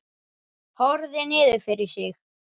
Horfði niður fyrir sig.